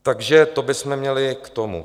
Takže to bychom měli k tomu.